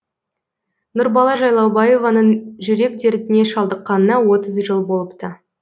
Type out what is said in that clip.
нұрбала жайлаубаеваның жүрек дертіне шалдыққанына отыз жыл болыпты